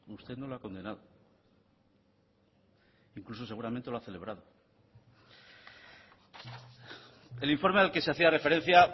usted no lo ha condenado incluso seguramente lo ha celebrado el informe al que se hacía referencia